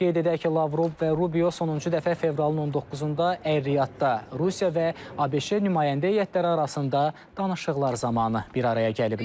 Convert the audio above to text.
Qeyd edək ki, Lavrov və Rubio sonuncu dəfə fevralın 19-da Ər-Riyadda Rusiya və ABŞ nümayəndə heyətləri arasında danışıqlar zamanı bir araya gəliblər.